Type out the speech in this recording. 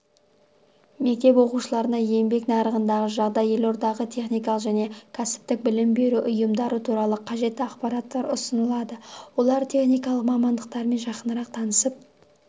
мектеп оқушыларына еңбек нарығындағы жағдай елордадағы техникалық және кәсіптік білім беру ұйымдары туралы қажетті ақпараттар ұсынылады олар техникалық мамандықтармен жақынырақ танысып